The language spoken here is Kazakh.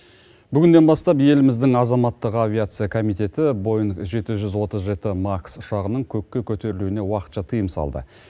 бүгіннен бастап еліміздің азаматтық авиация комитеті боинг жеті жүз отыз жеті макс ұшағының көкке көтерілуіне уақытша тыйым салды